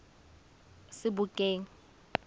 sebokeng